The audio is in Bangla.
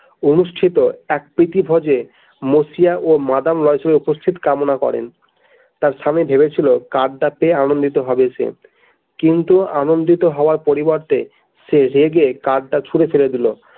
অনুষ্ঠিত এক প্রিতি ভোজে মসিয়া ও মাদাম লয়সেল এর উপস্থিত কামনা করেন তার স্বামী ভেবেছিল কার্ডটাতে আনন্দিত হবে সে কিন্তু আনন্দিত হওয়ার পরিবর্তে সে রেগে কার্ডটা ছুড়ে ফেলে দিল।